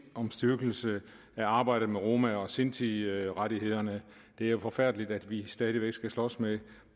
styrkelse af arbejdet med roma og sintirettighederne det er jo forfærdeligt at vi stadig væk skal slås med